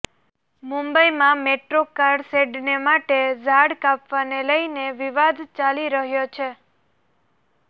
મુંબઈમાં metro car શેડને માટે ઝાડ કાપવાને લઈને વિવાદ ચાલી રહ્યો છે